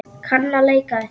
Kann að leika við þig.